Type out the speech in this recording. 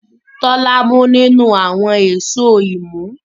Tola mú nínú àwọn Èṣó imú.